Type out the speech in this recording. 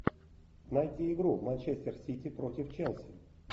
найти игру манчестер сити против челси